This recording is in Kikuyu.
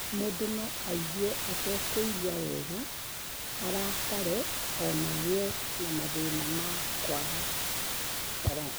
Mũndũ no aigue atekũigua wega, arakare, o na agĩe na mathĩna ma kwaga toro.